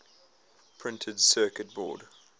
printed circuit board